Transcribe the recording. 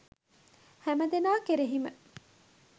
හැමදෙනා කෙරෙහිම